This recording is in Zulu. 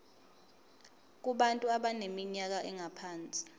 kubantu abaneminyaka engaphansi